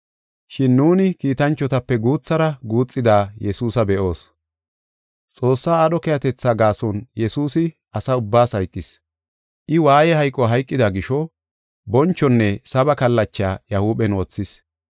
Shin nuuni kiitanchotape guuthara guuxida Yesuusa be7oos. Xoossaa aadho keehatetha gaason Yesuusi asa ubbaas hayqis. I waaye hayqo hayqida gisho, bonchonne saba kallacha iya huuphen wothis.